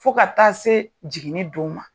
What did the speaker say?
Fo ka taa se jiginni don ma.